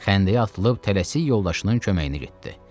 Xəndəyə atılıb tələsik yoldaşının köməyinə getdi.